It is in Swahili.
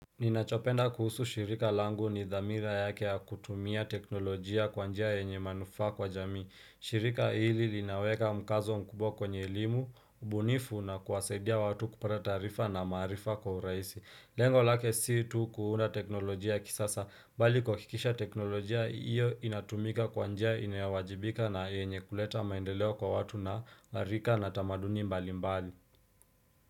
Ninachopenda kuhusu shirika langu ni dhamira yake ya kutumia teknolojia kwa njia yenye manufa kwa jamii, shirika hili linaweka mkazo mkubwa kwenye elimu, ubunifu na kuwasaidia watu kupata taarifa na maarifa kwa urahisi lengo lake si tu kuunda teknolojia ya kisasa mbali kuhakikisha teknolojia hiyo inatumika kwa njia inayowajibika na yenye kuleta maendeleo kwa watu na harika na tamaduni mbali mbali.